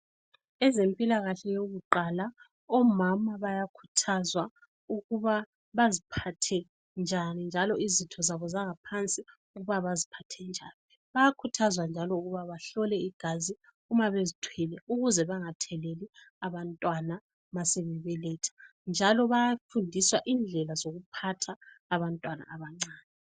Ezempilakahle yokuqala, omama bayakhuthwazwa ukuba baziphathe njani, njalo izitho zabo zangaphansi ukuba baziphathe njani. Bayakhuthazwa njalo ukuba bahlole igazi uma bezithwele ukuze bangatheleli abantwana masebe beletha, njalo bayafundiswa indlela zokuphatha abantwana abancane.